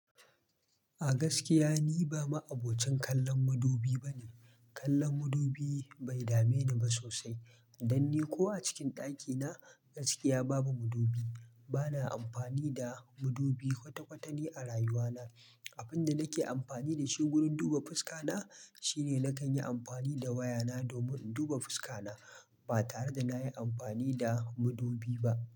A gaskiya ni ba ma'abocin kallon madubi bane. Kallon madubi bai dame ni ba sosai. Dan ni ko a cikin ɗakina gaskiya babu madubi. Bana amfani da madubi kwata-kwatani a rayuwana. Abin da nake amfani da shi gurin duba fuska na shine nakan yi amfani da wayana domin in duba fuska na ba tare da nayi amfani da madubi ba.